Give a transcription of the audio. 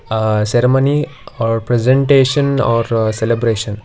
Aah ceremony or presentation or celebration.